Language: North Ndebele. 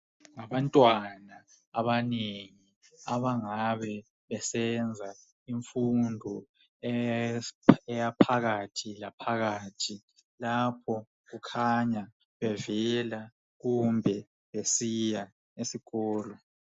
Abantwana abanengi abangabe besenza imfundo yaphakathi laphakathi, lapho kukhanya bevela kumbe besiya esikolo.